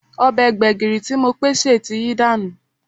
Ọbẹ̀ gbẹ̀gìrì tí Mopé sè ti yí dànù